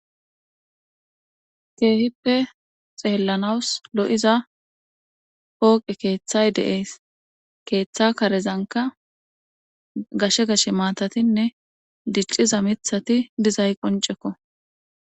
Keehippe xeellanawus lo'iza pooqe keeththay de'ees keeththa karezanka gashsge gashshe maatatinne dicciza miiththati dizay qoncekko